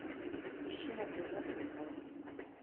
ищи на тв футбол